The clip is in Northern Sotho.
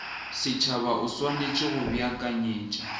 setšhaba o swanetše go beakanyetša